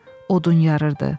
Odun yarırdı.